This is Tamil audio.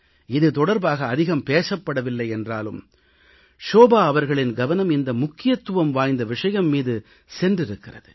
இது தொடர்பாக அதிகம் பேசப்படவில்லை என்றாலும் ஷோபா அவர்களின் கவனம் இந்த முக்கியத்துவம் வாய்ந்த விஷயம் மீது சென்றிருக்கிறது